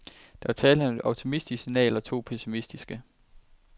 Der var tale om et optimistisk signal og to pessimistiske.